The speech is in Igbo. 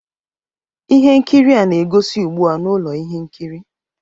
Ihe nkiri a na-egosi ugbu a na ụlọ ihe nkiri